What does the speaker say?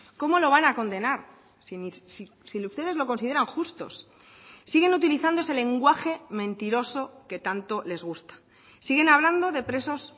cómo lo van a condenar si ustedes lo consideran justos siguen utilizando ese lenguaje mentiroso que tanto les gusta siguen hablando de